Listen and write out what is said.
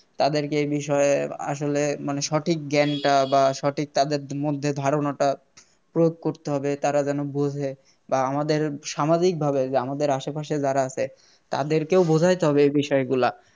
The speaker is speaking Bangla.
তাদেরকে এ বিষয়ে আসলে মানে সঠিক জ্ঞানটা বা সঠিক তাদের মধ্যে ধারণাটা প্রয়োগ করতে হবে তারা যেন বোঝে বা আমাদের সামাজিক ভাবে যে আমাদের আশেপাশে যারা আছে তাদেরকেও বোঝাতে হবে এই বিষয়গুলা